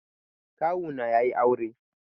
Kawu na yayi aure.